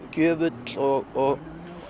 gjöfull og